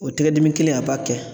O tɛgɛ dimi kelen a b'a kɛ.